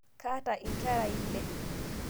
Kaata nkera iile